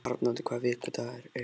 Arnoddur, hvaða vikudagur er í dag?